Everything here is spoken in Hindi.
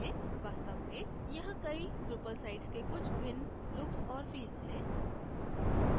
वास्तव में यहाँ कई drupal sites के कुछ भिन्न looks और feels हैं